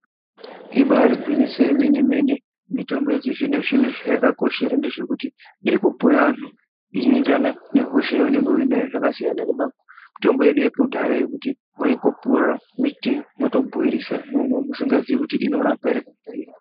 Ibaari gwinyiso yemenemene mitombo yechi zvino zvino zvayakakoshera ndezvekuti irikupuwa vanthu ìnoenderana nehosha yaunenge unayo zvakasiyana nematombo edu ekudhaya yekuti waingopuwa miti motobhoirisa momwa musingazii kuti inorapa ere kana kuti airapi.